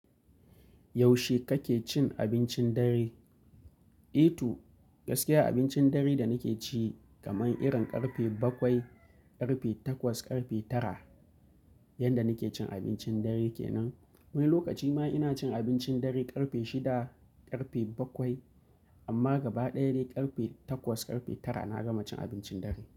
Yaushe kake cin abincin dare? Eh toh, gaskiya abincin dare da nake ci, kaman irin ƙarfe bakwai, ƙarfe takwas, ƙarfe tara, yanda nake cin abincin dare kenan, Wani lokaci ma ina cin abincin dare ƙarfe shida, ƙarfe bakwai, amma gaba ɗaya dai ƙarfe takwas, ƙarfe tara na gama cin abincin dare.